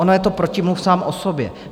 Ono je to protimluv sám o sobě.